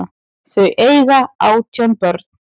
Þau eiga átján börn.